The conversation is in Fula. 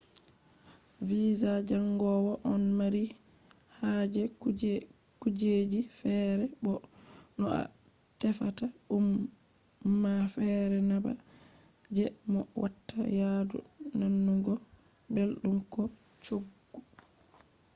visa jangowo ɗon mari haje kujeji feere bo no a tefata ɗum ma feere na ba je mo watta yadu nanugo belɗum ko coggu